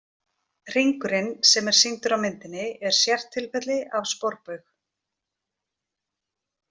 Hringurinn sem er sýndur á myndinni er sértilfelli af sporbaug.